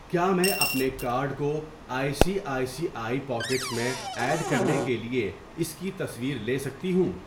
کیا میں اپنے کارڈ کو I C I C I pockets میں ایڈ کرنے کے لیے اس کی تصویر لےسکتی ہوں؟